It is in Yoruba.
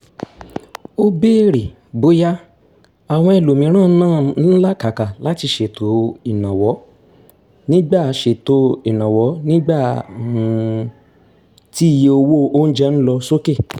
ó béèrè bóyá àwọn ẹlòmíràn náà ń làkàkà láti ṣètò ìnáwó nígbà ṣètò ìnáwó nígbà um tí iye owó oúnjẹ ń lọ sókè